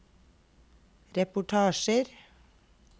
reportasjer